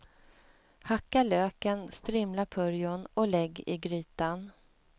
Hacka löken, strimla purjon och lägg i grytan.